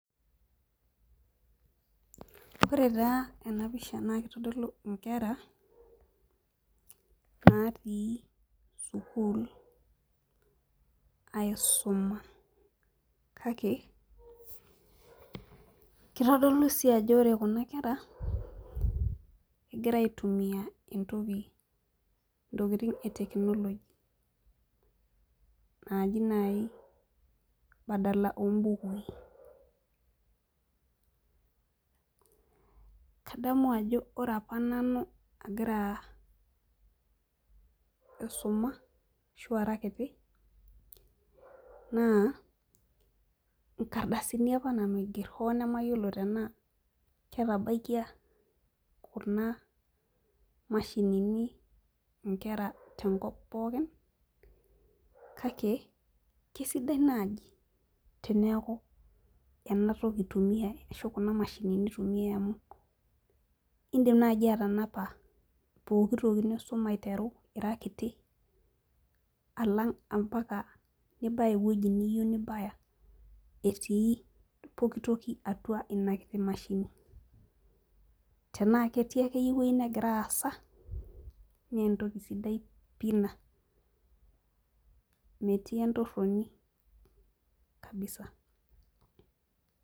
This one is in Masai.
ore taa ena pisha naa kitodolu nkera natii sukuul aisuma. kake kitodolu sii ajo ore kuna kera, egira aitumia ntokitin e technology naaji naai badala oo bukui, kadamu ajo ore apa nanu agira aisuma ashu ara kiti naa, nkardasini apa nanu aiger, hoo nemeyaiolo tenaa ketabaikia kuna mashinini, nkera te nkop pookin, kake kisidai naaji teneeku, ena toki itumiae, ashu kuna mashinini itumiae, amu idim naaji, atanapa pooki toki nisuma aiteru ira kiti mpaka, nibaya ewueji niyieu nibayaetii pooki toki atu inakiti mashini. tenaa ketii akeyie entoki nagira aasa, naa entoki sidai pii ina. metii entoroni kabisa.